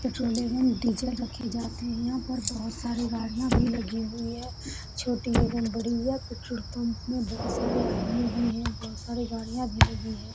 Petrol एवं diesel रखे जाते हैं यहाँ पर बहुत सारे गाड़ियाँ भी लगी हुए है छोटी एवं बड़ी है यह पेट्रोल पंप में बहुत सारे आदमी भी हैं बहुत सारी गाड़ियाँ भी लगी हैं ।